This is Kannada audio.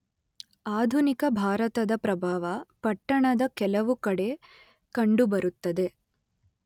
ಆಧುನಿಕ ಭಾರತದ ಪ್ರಭಾವ ಪಟ್ಟಣದ ಕೆಲವು ಕಡೆ ಕಂಡುಬರುತ್ತದೆ.